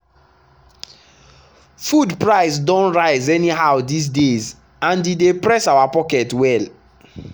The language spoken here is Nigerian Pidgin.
food price don rise anyhow these days and e dey press our pocket well.